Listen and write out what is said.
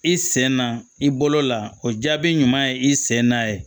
I sen na i bolo la o jaabi ɲuman ye i sen na